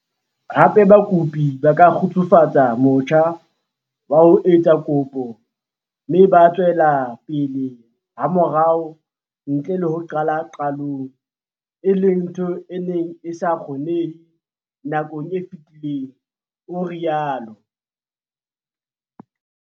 Hape, bakopi ba ka kgefutsa motjha wa ho etsa kopo mme ba tswela pele hamorao ntle le ho qala qalong, e leng ntho e neng e sa kgonehe nakong e fetileng, o rialo."